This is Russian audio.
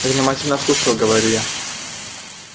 я внимательно слушаю говорю я